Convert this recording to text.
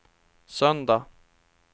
söndag